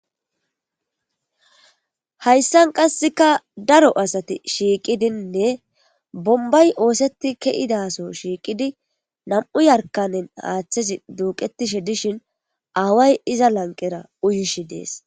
Hayssan qasseka daro asati shiiqidinne bombay ooseti ke7idaso shiiqidi nam'u yarkanen haaththesi duuqetishe dishin aaway iza lanqera uyishi dees.